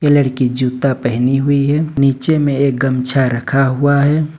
लड़की जूता पहनी हुई है नीचे में एक गमछा रखा हुआ है।